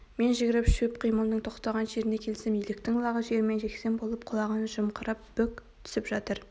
мен жүгіріп шөп қимылының тоқтаған жеріне келсем еліктің лағы жермен-жексен болып құлағын жымқырып бүк түсіп жатыр